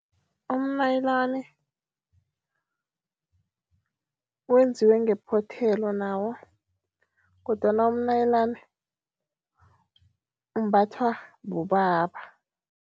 Umnayilani wenziwe ngephothelo nawo kodwana umnayilani umbathwa bobaba.